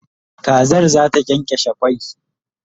Kazar zata kyankyashe kwai